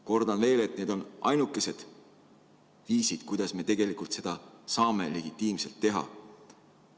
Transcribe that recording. Kordan veel, et need on ainukesed viisid, kuidas me tegelikult seda saame legitiimselt teha.